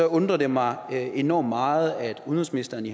undrer det mig enormt meget at udenrigsministeren i